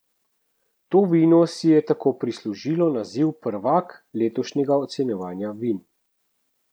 To vino si je tako prislužilo naziv prvak letošnjega ocenjevanja vin.